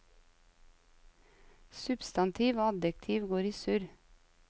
Substantiv og adjektiv går i surr.